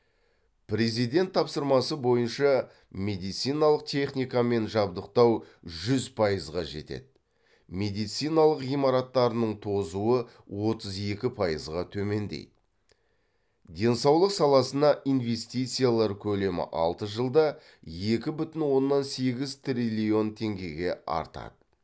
президент тапсырмасы бойынша медициналық техникамен жабдықтау жүз пайызға жетеді медициналық ғимараттарының тозуы отыз екі пайызға төмендейді денсаулық саласына инвестициялар көлемі алты жылда екі бүтін оннан сегіз триллион теңгеге артады